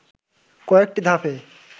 কয়েকটি ধাপে